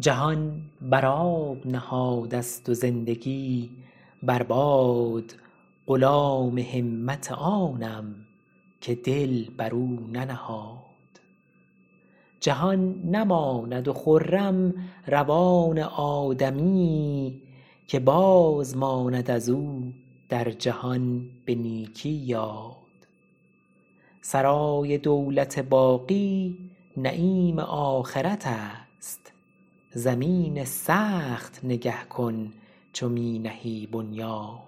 جهان بر آب نهاده ست و زندگی بر باد غلام همت آنم که دل بر او ننهاد جهان نماند و خرم روان آدمیی که باز ماند از او در جهان به نیکی یاد سرای دولت باقی نعیم آخرت است زمین سخت نگه کن چو می نهی بنیاد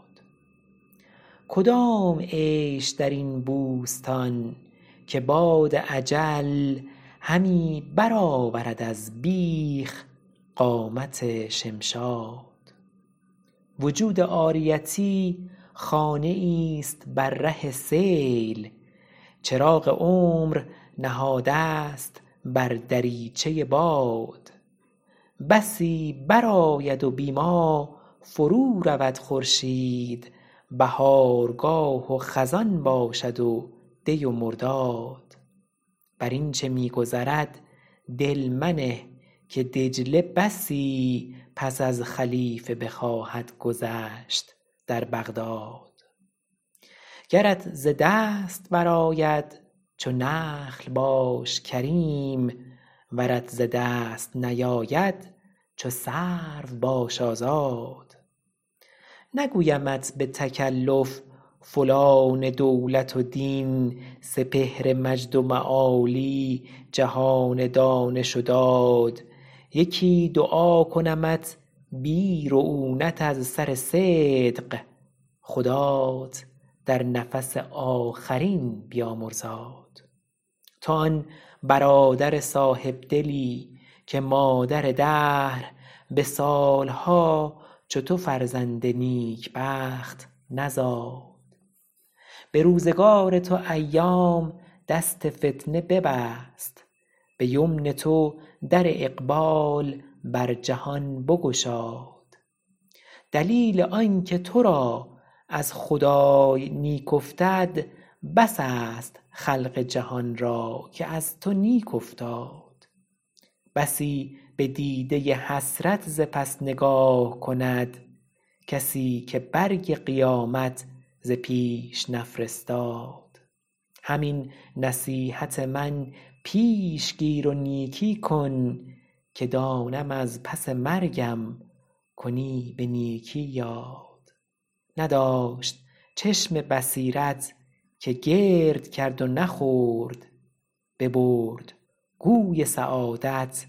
کدام عیش در این بوستان که باد اجل همی برآورد از بیخ قامت شمشاد وجود عاریتی خانه ایست بر ره سیل چراغ عمر نهاده ست بر دریچه باد بسی برآید و بی ما فرو رود خورشید بهارگاه و خزان باشد و دی و مرداد بر این چه می گذرد دل منه که دجله بسی پس از خلیفه بخواهد گذشت در بغداد گرت ز دست برآید چو نخل باش کریم ورت ز دست نیاید چو سرو باش آزاد نگویمت به تکلف فلان دولت و دین سپهر مجد و معالی جهان دانش و داد یکی دعا کنمت بی رعونت از سر صدق خدات در نفس آخرین بیامرزاد تو آن برادر صاحبدلی که مادر دهر به سالها چو تو فرزند نیکبخت نزاد به روزگار تو ایام دست فتنه ببست به یمن تو در اقبال بر جهان بگشاد دلیل آنکه تو را از خدای نیک افتد بس است خلق جهان را که از تو نیک افتاد بسی به دیده حسرت ز پس نگاه کند کسی که برگ قیامت ز پیش نفرستاد همین نصیحت من پیش گیر و نیکی کن که دانم از پس مرگم کنی به نیکی یاد نداشت چشم بصیرت که گرد کرد و نخورد ببرد گوی سعادت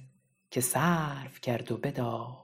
که صرف کرد و بداد